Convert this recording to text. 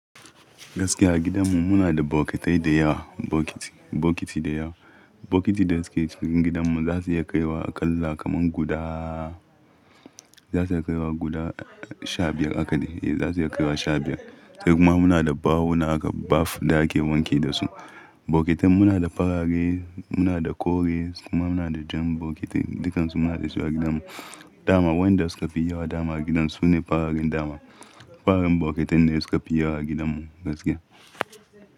Gaskiya a gidanmu muna da bokitai da yawa, bokiti, bokiti da yawa. Bokitin da suke cikin gidanmu za su iya kaiwa aƙalla kaman guda za su iya kaiwa guda sha biyar haka ne, eh za su iya kaiwa sha biyar. Sai kuma muna da bawuna aka baf da ake wanki dasu. Bokitin muna da farare, muna da kore, kuma muna da jan bokiti, dukansu muna da su a gidanmu. Dama waɗanda suka fi yawa dama a gidan su ne fararen dama. Fararen bokitin ne suka fi yawa a gidanmu gaskiya.